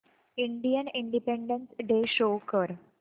Indian independence day show कर